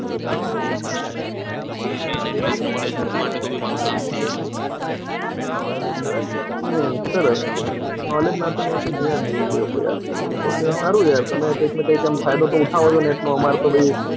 તો એ main એટલે knowledge માટે તો કામ થઈ જાય મારુ હમ સરસ knowledge ના તો મેં કોઈ જોયા જ નથી video કોઈ આજકાલ સારું છે તમે કોઈ ફાયદો તો ઉઠાવો છો નેટ નો એટલો અમર તો ભાઈ,